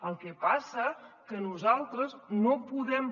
el que passa que nosaltres no podem